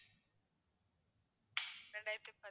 ரெண்டாயிரத்தி பத்து~